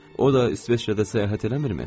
O da İsveçrədə səyahət eləmirmi?